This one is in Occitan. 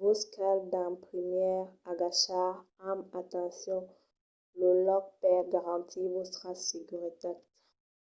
vos cal d’en primièr agachar amb atencion lo lòc per garantir vòstra seguretat